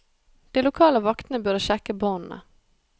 De lokale vaktene burde sjekke båndene.